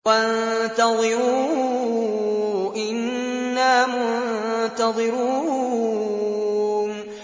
وَانتَظِرُوا إِنَّا مُنتَظِرُونَ